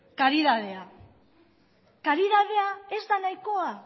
karidadea karidadea ez da nahikoa